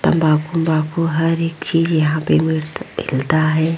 तम्बाकू उम्बाकू हर एक चीज यहां पे मिल मिलता है।